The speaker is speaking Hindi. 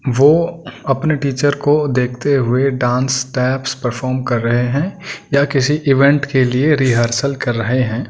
वो अपने टीचर को देखते हुए डांस स्टेप्स परफॉर्म कर रहे हैं या किसी इवेंट के लिए रिहर्सल कर रहे हैं।